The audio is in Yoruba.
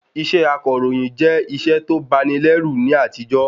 Iṣẹ́ akọ̀ròyìn jẹ́ iṣẹ́ to bani lẹ́rù ní àtijó